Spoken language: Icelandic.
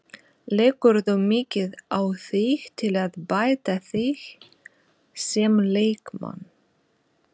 Leggurðu mikið á þig til að bæta þig sem leikmann?